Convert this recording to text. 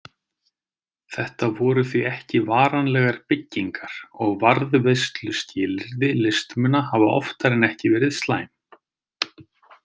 Þetta voru því ekki varanlegar byggingar og varðveisluskilyrði listmuna hafa oftar en ekki verið slæm.